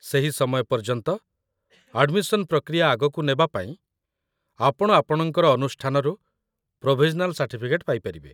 ସେହି ସମୟ ପର୍ଯ୍ୟନ୍ତ, ଆଡମିସନ୍ ପ୍ରକ୍ରିୟା ଆଗକୁ ନେବା ପାଇଁ, ଆପଣ ଆପଣଙ୍କ ଅନୁଷ୍ଠାନରୁ ପ୍ରୋଭିଜନାଲ୍ ସାର୍ଟିଫିକେଟ୍ ପାଇପାରିବେ